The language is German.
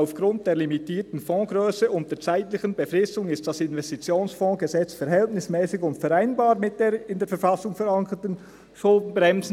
«Aufgrund der limitierten Fondsgrösse und der zeitlichen Befristung ist das Investitionsfondsgesetz verhältnismässig und vereinbar mit den in der Verfassung verankerten Schuldenbremsen.